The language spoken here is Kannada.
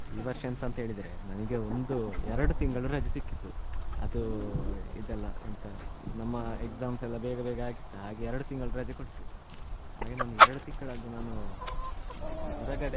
ಈ ವರ್ಷ ಎಂತ ಅಂತ ಹೇಳಿದ್ರೆ ನನಗೆ ಒಂದು ಎರಡು ತಿಂಗಳು ರಜೆ ಸಿಕ್ಕಿತು ಅದು ಇದೆಲ್ಲ ಎಂತ ನಮ್ಮ exams ಎಲ್ಲ ಬೇಗ ಬೇಗ ಆಗಿತ್ತ ಹಾಗೆ ಎರಡು ತಿಂಗಳು ರಜೆ ಕೊಟ್ರು ಹಾಗೆ ನಾನು ಎರಡು ತಿಂಗಳಲ್ಲಿ ನಾನು ಹೊರಗಡೆ .